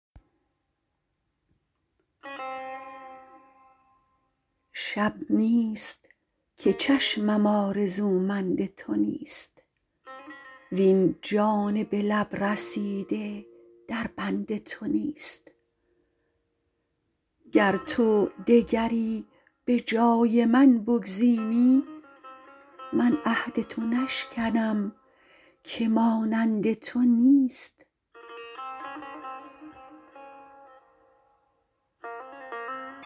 شب نیست که چشمم آرزومند تو نیست وین جان به لب رسیده در بند تو نیست گر تو دگری به جای من بگزینی من عهد تو نشکنم که مانند تو نیست